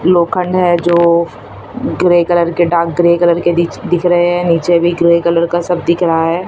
लोखंड है जो ग्रे कलर के डार्क ग्रे कलर के दिच दिख रहे हैं नीचे भी ग्रे कलर का सब दिख रहा है।